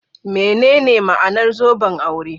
Menene ma'anar zoben aure?